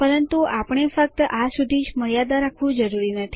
પરંતુ આપણે ફક્ત આ સુધી જ મર્યાદા રાખવું જરૂરી નથી